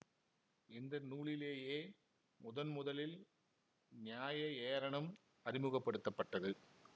இந்த நூலிலேயே முதன்முதலில் நியாய ஏரணம் அறிமுக படுத்த பட்டது